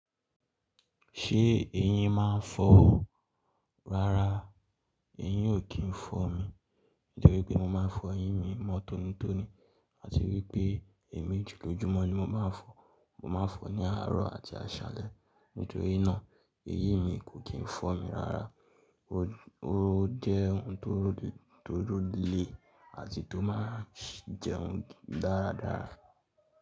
Ṣé eyín máa ń fọ́? Rárá, eyín ò kí ń fọ́ mi. Nítorí pé mo máa ń fọ eyín mi mọ́ tónítóní àti wípé ẹ̀mejì lójúmọ́ ni mo máa ń fọ́. Mo máa ń fọ̀ ní àárọ̀ àti àṣálẹ́. Nítorí náà, eyín mi kò kí ń fọ́ mi rárá. Ó jẹ́ ohun tó role àti tó máa ń jẹun dáradára.